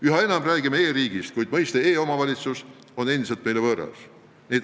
Üha enam räägime e-riigist, kuid mõiste "e-omavalitsus" on endiselt võõras.